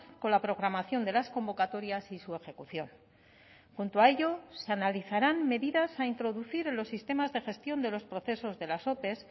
con la programación de las convocatorias y su ejecución junto a ello se analizarán medidas a introducir en los sistemas de gestión de los procesos de las ope